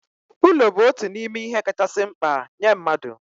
Ulo bụ otu n'ime ihe kachasị mkpa nye mmadụ